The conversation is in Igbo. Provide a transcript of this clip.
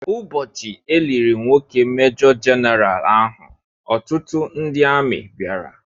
Ụbọchị e liri nwoke majọ jenaraal ahụ ọtụtụ ndị amị bịara